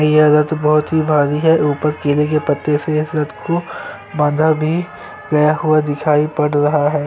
यह रथ बहोत ही भारी है ऊपर कले के पते से रथ को बांधा भी गया हुआ दिखाई पड़ रहा है।